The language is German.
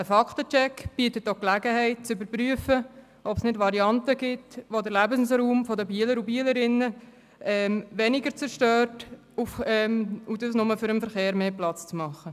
Ein Fakten-Check bietet auch die Gelegenheit zu überprüfen, ob es Varianten gibt, die den Lebensraum der Bielerinnen und Bieler weniger zerstören und nicht nur dem Verkehr mehr Raum geben.